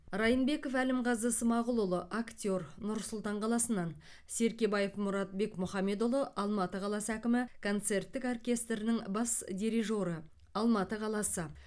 райнбеков әлімғазы смағұлұлы актер нұр сұлтан қаласынан серкебаев мұрат бекмұхамедұлы алматы қаласы әкімі концерттік оркестрінің бас дирижоры алматы қаласы